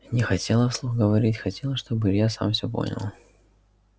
не хотела вслух говорить хотела чтобы илья сам всё понял